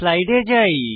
স্লাইডে যাই